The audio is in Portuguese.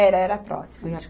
Era, era próximo de